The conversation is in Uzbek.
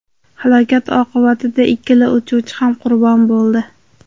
Halokat oqibatida ikkala uchuvchi ham qurbon bo‘ldi.